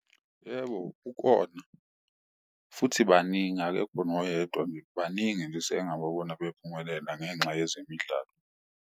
Yebo, ukona. Futhi baningi akekho noyedwa nje, baningi nje esengike ngababona bephumelela ngenxa yezemidlalo.